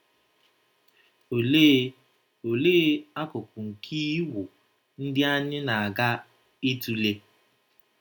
Olee Olee akụkụ nke Iwu ndị anyị na - aga ịtụle